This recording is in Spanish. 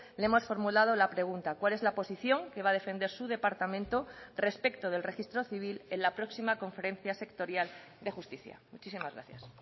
le hemos formulado la pregunta cuál es la posición que va a defender su departamento respecto del registro civil en la próxima conferencia sectorial de justicia muchísimas gracias